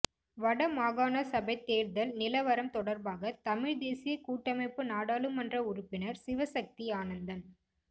வட மாகாணசபைத் தேர்தல் நிலவரம் தொடர்பாக தமிழ் தேசியக் கூட்டமைப்பு நாடாளுமன்ற உறுப்பினர் சிவசக்தி ஆனந்தன்